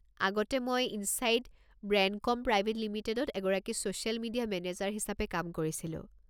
আগতে মই Insight Brandcom private লিমিটেডত এগৰাকী ছ'ছিয়েল মিডিয়া মেনেজাৰ হিচাপে কাম কৰিছিলো।